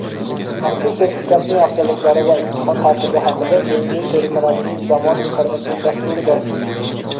mazkur sertifikatning afzalliklari va imtihon tartibi haqida "Sevimli" telekanalining "Zamon" informatsion dasturida.